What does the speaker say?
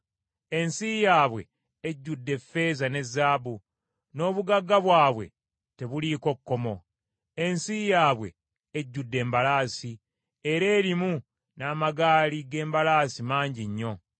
Ensi yaabwe ejjudde effeeza ne zaabu, n’obugagga bwabwe tebuliiko kkomo: ensi yaabwe ejjudde embalaasi, era erimu n’amagaali g’embalaasi mangi nnyo.